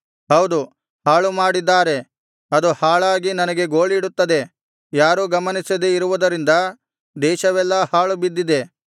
ಹೌದು ಹಾಳುಮಾಡಿದ್ದಾರೆ ಅದು ಹಾಳಾಗಿ ನನಗೆ ಗೋಳಿಡುತ್ತದೆ ಯಾರೂ ಗಮನಿಸದೆ ಇರುವುದರಿಂದ ದೇಶವೆಲ್ಲಾ ಹಾಳುಬಿದ್ದಿದೆ